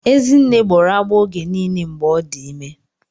Ezinne gbọrọ agbọọ oge niile mgbe ọ dị ime.